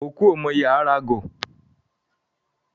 Òkú ò mọ ìye aa ra agọ̀